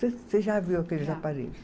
Você já viu aqueles aparelhos.